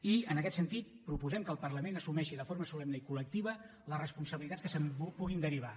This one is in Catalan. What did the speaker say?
i en aquest sentit proposem que el parlament assumeixi de forma solemne i colresponsabilitats que se’n puguin derivar